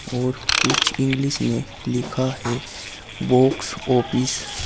और कुछ इंग्लिश में लिखा है बॉक्स ऑफिस ।